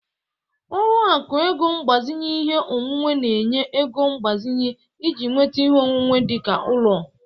Ọlụakụ ego mgbazinye ihe onwunwe na-enye ego mgbazinye iji nweta ihe onwunwe dị ka ụlọ.